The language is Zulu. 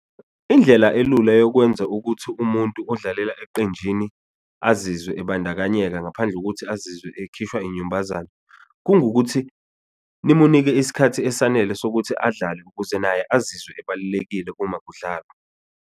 Indlela elula yokwenza ukuthi umuntu odlalela eqenjini azizwe ibandakanyeka ngaphandle kokuthi azizwe ekhishwa inyumbazaa, kungukuthi nimunike isikhathi esanele sokuthi adlale ukuze naye azizwe ebalulekile uma kudlalwa.